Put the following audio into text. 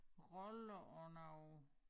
Roller og noget